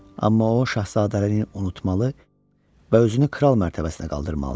Amma o şahzadəliyini unutmalı və özünü kral mərtəbəsinə qaldırmalıdır.